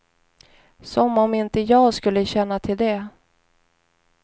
Som om inte jag skulle känna till det.